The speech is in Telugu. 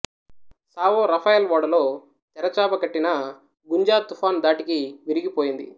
సావో రఫాయెల్ ఓడలో తెరచాప కట్టిన గుంజ తుఫాను ధాటికి విరిగిపోయింది